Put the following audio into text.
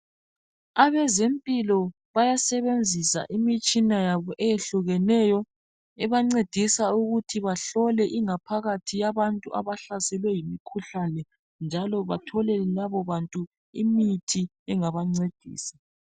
Abezempilo bayasebenzisa imitshina yabo eyehlukeneyo ebancedisa ukuthi bahlole ingaphakathi yabantu abahlaselwe yimkhuhlane njalo batholele labo bantu imithi engabancedisa.